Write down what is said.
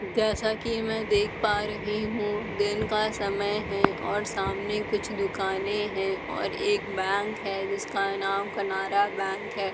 जैसा कि में देख पा रही हूँ दिन का समय है और सामने कुछ दुकाने हैं और एक बैंक है जिसका नाम कैनरा बैंक है।